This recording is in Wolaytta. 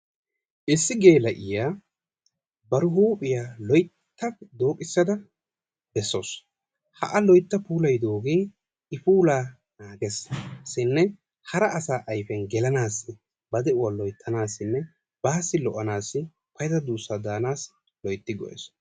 Issi geela'iyaa bari huuphiyaa loyitta dooqissada bessawusu ha a loytta puulayidoogee i puulaa nagesinne hara asa ayipiyaan gelanaassinne ba de'uwaa loyttanaassinne baassi lo'anaassi lo'ida duussa daanassi loytti go'es.